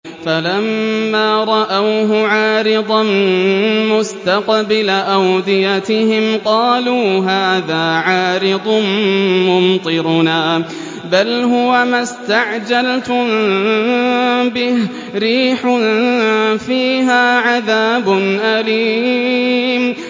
فَلَمَّا رَأَوْهُ عَارِضًا مُّسْتَقْبِلَ أَوْدِيَتِهِمْ قَالُوا هَٰذَا عَارِضٌ مُّمْطِرُنَا ۚ بَلْ هُوَ مَا اسْتَعْجَلْتُم بِهِ ۖ رِيحٌ فِيهَا عَذَابٌ أَلِيمٌ